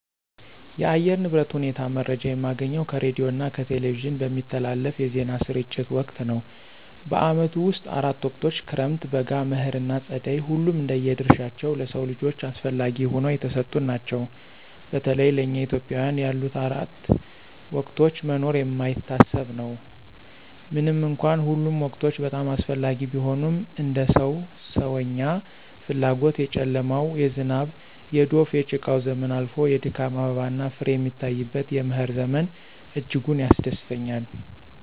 የአየር ንብረት ሁኔታ መረጃ የማገኘው ከሬዲዮና ከቴሌቪዥን በሚተላለፉ የዜና ስርጭት ወቅት ነው። በዓመቱ ውስጥ አራት ወቅቶች ክረምት፣ በጋ፣ መኸር ና ፀደይ ሁሉም እንደየ ድርሻቸው ለሰው ልጆች አስፈለጊ ሁነው የተሰጡን ናቸው። በተለይ ለእኛ ኢትዮጵያውያን ያለ አራቱ ወቅቶች መኖር የማይታሰብ ነው። ምንም እንኳን ሁሉም ወቅቶች በጣም አስፈላጊ ቢሆኑም እንደ ሰው ሰዎኛ ፍላጎት የጨለማው፣ የዝናብ፣ የዶፍ፣ የጭቃው ዘመን አልፎ የድካም አበባና ፍሬ የሚታይበት የመኸር ዘመን እጅጉን ያስደስተኛል።